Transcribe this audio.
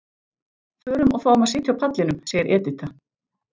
Förum og fáum að sitja á pallinum, segir Edita.